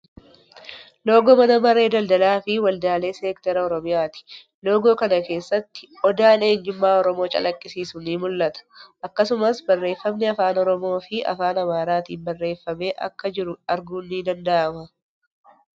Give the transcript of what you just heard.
Loogoo Mana Maree Daldalaa fii Waldaalee Seekteraa Oromiyaati. Loogoo kana keessatti Odaan eenyummaa Oromoo calaqqisiisu ni mul'ata. Akkasumas barreeffamni afaan Oromoo fii afaan Amaariffaatin baarreeffame akka jiru arguun ni danda'ama.